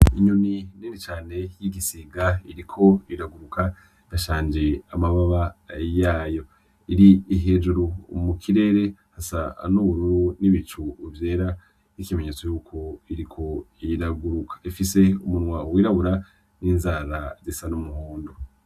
Inyoni nini cane y'igisiga iriko iragukuruka idashanje amababa yayo, iri hejuru mu kirere hasa n'ubururu n'ibicu vyera, n'ikimenyetso yuko iriko iraguruka, ifise umunwa w'irabura, n'inzara zisa umuhondo.